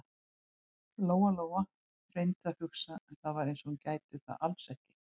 Lóa-Lóa reyndi að hugsa, en það var eins og hún gæti það alls ekki.